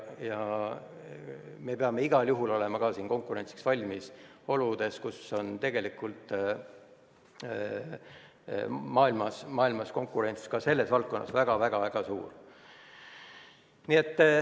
Me peame igal juhul olema konkurentsiks valmis, konkurents selles valdkonnas on väga-väga suur.